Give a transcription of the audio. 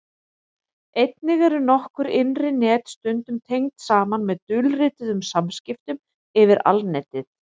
einnig eru nokkur innri net stundum tengd saman með dulrituðum samskiptum yfir alnetið